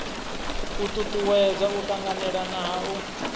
u tutuwedza u tanganelana ha